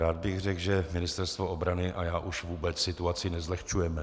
Rád bych řekl, že Ministerstvo obrany a já už vůbec situaci nezlehčujeme.